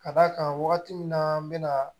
Ka d'a kan wagati min na n bɛna